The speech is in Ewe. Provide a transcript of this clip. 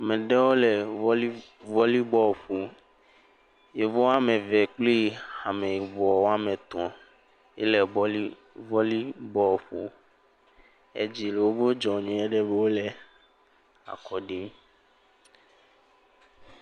Ame ɖewo le vɔli, vɔli bɔlu ƒom. Yevu woame ve kplii Ameyibɔ woame tɔ̃ ele vɔli, vɔli bɔlu ƒom. Edzi le woƒe dzɔ nyuieɖe be wole akɔ ɖim.